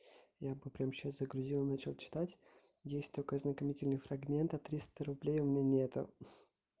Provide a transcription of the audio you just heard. я бы прямо сейчас загрузил и начал читать есть только ознакомительный фрагмент а триста рублей у меня нет